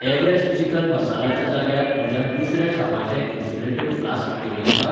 Everest chicken masala च्या जाग्यार म्हज्यान दुसऱ्या छापाचें इन्सुलेटेड फ्लास्क घेवं येता?